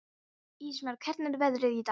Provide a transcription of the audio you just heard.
Ísmar, hvernig er veðrið í dag?